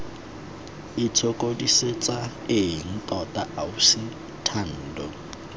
itshokodisetsa eng tota ausi thando